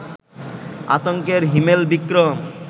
আতঙ্কের হিমেল বিক্রম